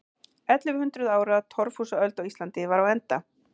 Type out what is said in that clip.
Ellefu hundruð ára torfhúsaöld á Íslandi var á enda.